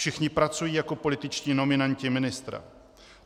Všichni pracují jako političtí nominanti ministra.